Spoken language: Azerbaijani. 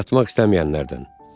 Yatmaq istəməyənlərdən.